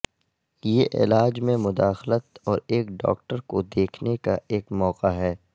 یہ علاج میں مداخلت اور ایک ڈاکٹر کو دیکھنے کا ایک موقع ہے